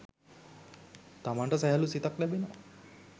තමන්ට සැහැල්ලූ සිතක් ලැබෙනවා